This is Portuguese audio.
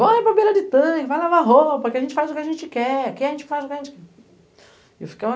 Vão aí para beira de tanque, vai lavar roupa, aqui a gente faz o que a gente quer, aqui a gente faz o que a gente quer.